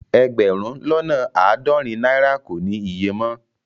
Ẹgbérùn lọ́nà aádọ́rìn naira kò ní ìyè mọ